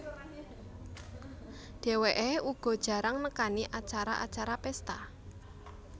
Dheweké uga jarang nekani acara acara pesta